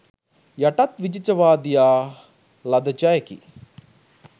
යටත්විජිතවාදියා ලද ජයකි